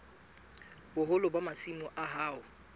boholo ba masimo a hao